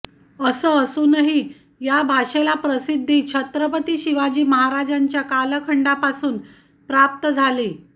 असं असूनही या भाषेला प्रसिद्धी छत्रपती शिवाजी महाराजांच्या कालखंडापासून प्राप्त झाली